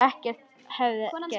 Ekkert hefði gerst.